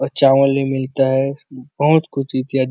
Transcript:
और चांवल भी मिलता है बहुत कुछ इत्यादि --